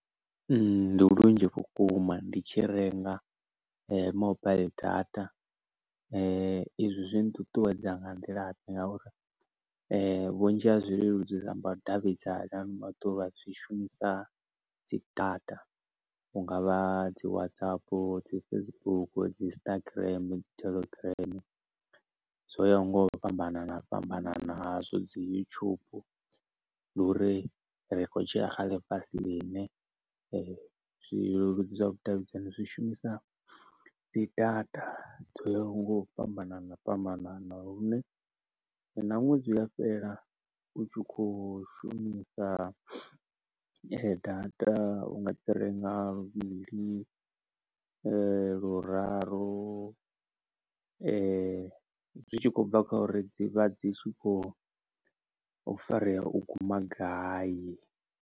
Ndi lunzhi vhukuma ndi tshi renga mobaiḽi data izwi zwi nṱuṱuwedza nga nḓila ḓe ngauri vhunzhi ha zwileludzi zwa vhudavhidzani zwishumisa dzi data hungavha dzi WhatsApp, dzi Facebook, dzi Instagram, dzi Telegram, dzo ya nga u fhambanana fhambananaho hazwo dzi yutshubu ndi uri ri kho tshila kha ḽifhasi ḽine zwileludzi zwa vhudavhidzani zwi shumisa dzi data dzo ya ho nga u fhambanana fhambanana lune na ṅwedzi u a fhela u tshi kho shumisa data u nga dzi renga luvhili luraru zwi tshi khou bva kha uri dzivha dzi thsi khou farea u guma gai.